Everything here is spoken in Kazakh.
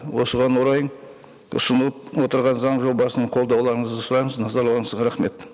осыған орай ұсынылып отырған заң жобасын қолдауларыңызды сұраймыз назарларыңызға рахмет